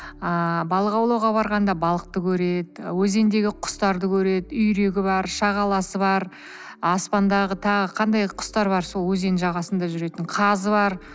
ыыы балық аулауға барғанда балықты көреді өзендегі құстарды көреді үйрегі бар шағаласы бар аспандағы тағы қандай құстар бар сол өзен жағасында жүретін қазы бар